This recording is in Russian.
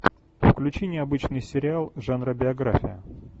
включи необычный сериал жанра биография